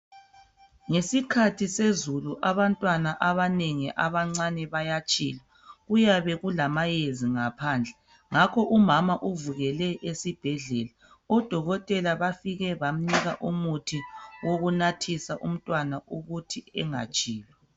Ngesikhathi sezulu abantwana abanengi abancane bayatshila uyabe kulama yezi ngaphandle ngakho umama uvukele esibhedlela odokotela bafike bamnika umuthi wokunathisa umntwana ukuthi engatshili